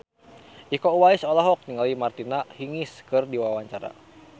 Iko Uwais olohok ningali Martina Hingis keur diwawancara